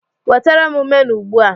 Wetere m menu ugbu a